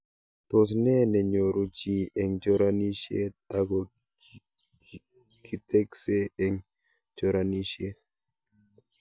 Tos nee nenyoru chii eng' choranishet ako kiteksee eng' choranishet